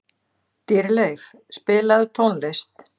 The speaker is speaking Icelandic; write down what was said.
Dýrleif, spilaðu tónlist.